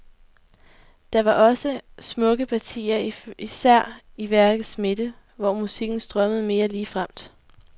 Der var dog også smukke partier, især i værkets midte, hvor musikken strømmede mere ligefremt.